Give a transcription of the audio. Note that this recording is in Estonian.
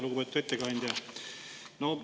Lugupeetud ettekandja!